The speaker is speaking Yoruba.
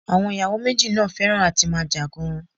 Àwọn ì̀yàwò méjì náà fẹhràn à ti máa jà gan-an.